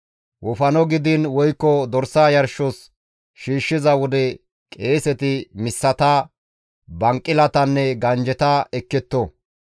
Wofano gidiin woykko dorsa yarshos shiishshiza wode qeeseti missata, banqilatanne ganjjeta ekketto.